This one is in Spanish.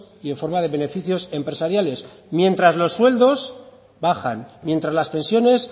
y en forma de beneficios empresariales mientras los sueldos bajan mientras las pensiones